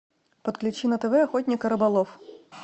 подключи на тв охотник и рыболов